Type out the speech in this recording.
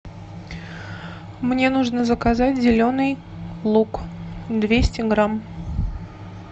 мне нужно заказать зеленый лук двести грамм